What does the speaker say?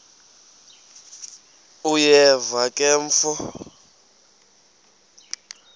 uyeva ke mfo